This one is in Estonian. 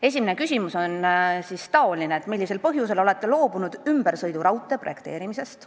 Esimene küsimus: "Millisel põhjusel olete loobunud ümbersõiduraudtee projekteerimisest?